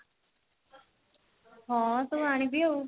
ହଁ ସବୁ ଆଣିବି ଆଉ